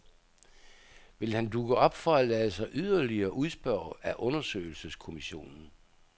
Vil han dukke op for at lade sig yderligere udspørge af undersøgelseskomissionen?